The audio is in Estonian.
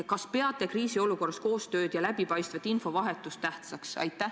Kas te peate kriisiolukorras koostööd ja läbipaistvat infovahetust tähtsaks?